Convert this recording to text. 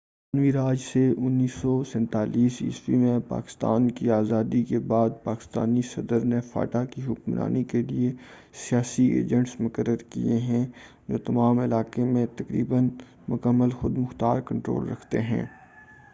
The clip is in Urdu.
برطانوی راج سے 1947ء میں پاکستان کی آزادی کے بعد سے پاکستانی صدر نے فاٹا کی حکمرانی کے لیے سیاسی ایجنٹس مقرر کیے ہیں جو تمام علاقے میں تقریباً مکمل خُودمُختار کنٹرول رکھتے ہیں